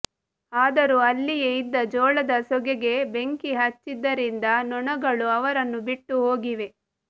ಆದರೂ ಅಲ್ಲಿಯೇ ಇದ್ದ ಜೋಳದ ಸೋಗೆಗೆ ಬೆಂಕಿ ಹಚ್ಚಿದ್ದರಿಂದ ನೊಣಗಳು ಅವರನ್ನು ಬಿಟ್ಟು ಹೋಗಿವೆ